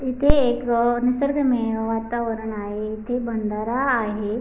इथे एक अ निसर्गरम्य अ वातावरण आहे इथे बंदारा आहे.